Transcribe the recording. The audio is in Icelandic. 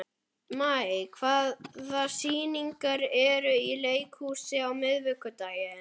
Maj, hvaða sýningar eru í leikhúsinu á miðvikudaginn?